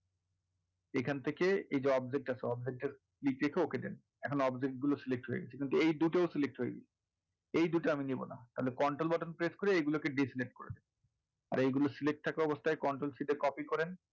এইখান থেকে এই যে object টা আছে object এর ই তে গিয়ে okay দেন এখন object গুলো select হয়ে গেছে কিন্তু এই দুটো select হয়নি, এই দুটা আমি নেবোনা তাহলে control button press করে এই দুটো কে diselect করে দিন এগুলো select থাকা অবস্থায় control C তে copy করেন,